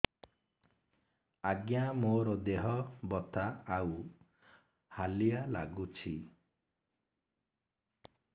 ଆଜ୍ଞା ମୋର ଦେହ ବଥା ଆଉ ହାଲିଆ ଲାଗୁଚି